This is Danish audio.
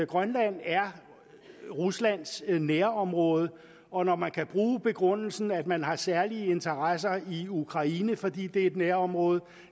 grønland er ruslands nærområde og når man kan bruge begrundelsen at man har særlige interesser i ukraine fordi det er et nærområde